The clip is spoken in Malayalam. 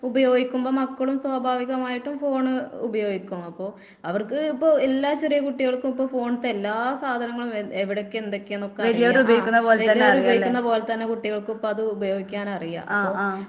ഉപയോഗിക്കുമ്പോ മക്കളും സ്വാഭാവികമായിട്ടും ഫോണ് ഉപയോഗിക്കും. അപ്പോ അവർക്ക് ഇപ്പൊ എല്ലാ ചെറിയ കുട്ടികൾക്കും ഇപ്പ ഫോൺത്തെ എല്ലാ സാധനങ്ങളും വ എവടൊക്കെ എന്തൊക്കെയാന്നൊക്കെ അറിയാം. ആഹ് വല്യവരുപയോഗിക്കുന്ന പോലെ തന്നെ കുട്ടികൾക്കും ഇപ്പത് ഉപയോഗിക്കാനറിയാം. അപ്പൊ